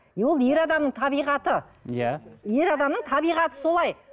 ол ер адамның табиғаты иә ер адамның табиғаты солай